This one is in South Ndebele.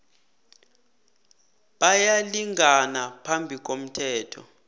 bayalingana phambi komthetho